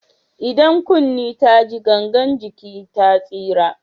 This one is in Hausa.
Idan kunne ta ji gangan jiki ta tsira.